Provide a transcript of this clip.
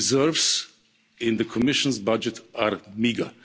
Reserves in the Commission's budget are meagre.